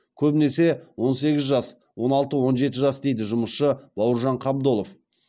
көбінесе он сегіз жас он алты он жеті жас дейді жұмысшы бауыржан қабдолов